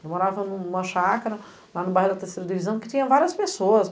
Ele morava em uma chácara, lá no bairro da terceira divisão, que tinha várias pessoas.